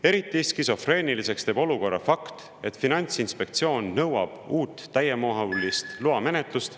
Eriti skisofreeniliseks teeb olukorra fakt, et Finantsinspektsioon nõuab uut täiemahulist loamenetlust …